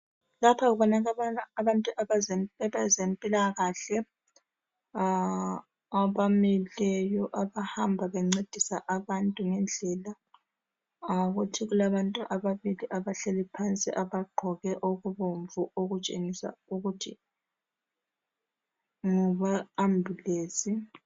Lapha kubonakala abantu abezempilakahle abamileyo abahamba bencedisa abantu ngendlela. Kuthi kulabantu ababili abahleli phansi abagqoke okubomvu abatshengisa ukuthi ngabe ambulensi.